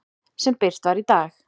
sem birt var í dag.